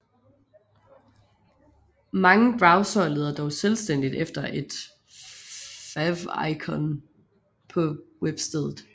Mange browsere leder dog selvstændigt efter et favicon på webstedet